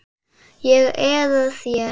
Ég eða þér?